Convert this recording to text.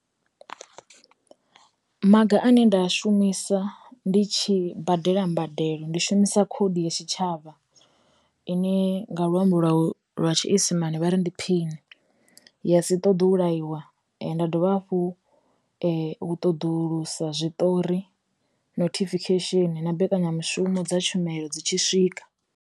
Maga ane nda shumisa ndi tshi badela mbadelo ndi shumisa khoḓi ya tshitshavha, ine nga luambo lwa lwa tshiisimane vha ri phini, ya si ṱoḓe u laiwa, nda dovha hafhu u ṱoḓulusa zwiṱori nothifikhesheni na mbekanyamushumo dza tshumelo dzi tshi swika.